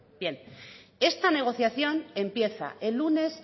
bien esta negociación empieza el lunes